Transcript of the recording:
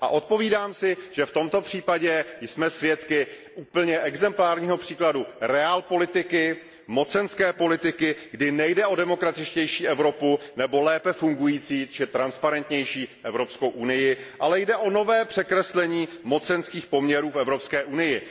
A odpovídám si, že v tomto případě jsme svědky úplně exemplárního příkladu realpolitik, mocenské politiky, kdy nejde o demokratičtější Evropu nebo lépe fungující či transparentnější Evropskou unii, ale jde o nové rozdělení mocenských poměrů v Evropské unii.